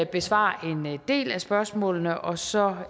besvare en del af spørgsmålene og så